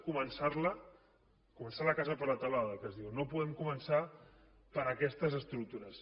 començar la casa per la teulada que es diu no podem començar per aquestes estructures